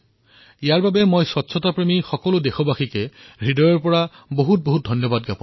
মই ইয়াৰ বাবে এই সকলো স্বচ্ছতা প্ৰেমী দেশবাসীক হৃদয়েৰে অশেষ অভিনন্দন জনাইছোঁ